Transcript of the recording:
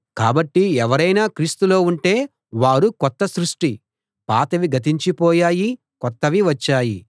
కాబట్టి ఎవరైనా క్రీస్తులో ఉంటే వారు కొత్త సృష్టి పాతవి గతించి పోయాయి కొత్తవి వచ్చాయి